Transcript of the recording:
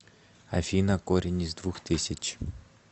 афина корень из двух тысяч